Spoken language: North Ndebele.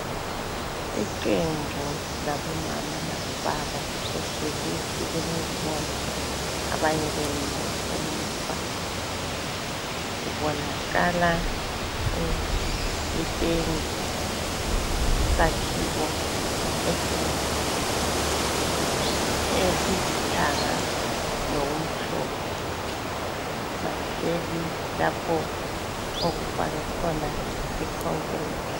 Iqembu labomama labobaba lihleli ezitulweni ezibomvu abanye bemile emuva, kubonakala itende isakhiwo esilithanga lokumhlophe bahleli lapho okufakwe khona i khonkirithi.